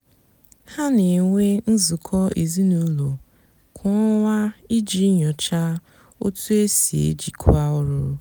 hà nà-ènwé nzukọ ézinụlọ kwá ọnwá íjì nyochaa ótú é sì èjìkwá ọrụ.